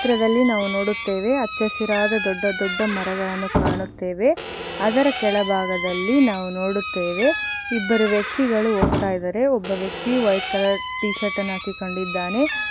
ಚಿತ್ರದಲ್ಲಿ ನಾವು ನೋಡುತ್ತೇವೆ ಅಚ್ಚಸಿರಾದ ದೊಡ್ಡ ದೊಡ್ಡ ಮರಗಳನ್ನು ಕಾಣುತ್ತೇವೆ ಅದರ ಕೆಳಭಾಗದಲ್ಲಿ ನಾವು ನೋಡುತ್ತೇವೆ ಇಬ್ಬರು ವ್ಯಕ್ತಿಗಳು ಹೋಗ್ತಾ ಇದ್ದಾರೆ ಒಬ್ಬ ವ್ಯಕ್ತಿ ವೈಟ್ ಕಲರ್ ಟೀ ಶರ್ಟ್ ಅನ್ನು ಹಾಕಿಕೊಂಡಿದ್ದಾನೆ --